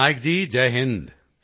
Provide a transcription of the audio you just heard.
ਪਟਨਾਇਕ ਜੀ ਜੈ ਹਿੰਦ